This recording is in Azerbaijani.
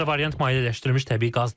Digər variant mayeləşdirilmiş təbii qazdır.